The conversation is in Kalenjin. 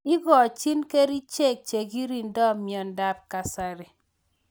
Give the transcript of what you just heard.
Ikochin kerixhek chekirindoi mnyendo ab kasari.